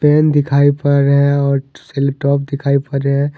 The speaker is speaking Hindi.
पेन दिखाई पड़ रहे है और सेलो टॉप दिखाई पड़ रहे है।